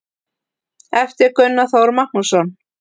eftir gunnar þór magnússon